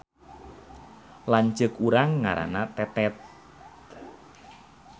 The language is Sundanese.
Lanceuk urang ngaranna Tetet